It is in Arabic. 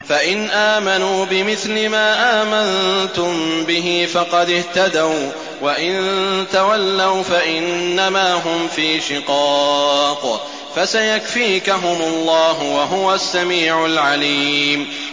فَإِنْ آمَنُوا بِمِثْلِ مَا آمَنتُم بِهِ فَقَدِ اهْتَدَوا ۖ وَّإِن تَوَلَّوْا فَإِنَّمَا هُمْ فِي شِقَاقٍ ۖ فَسَيَكْفِيكَهُمُ اللَّهُ ۚ وَهُوَ السَّمِيعُ الْعَلِيمُ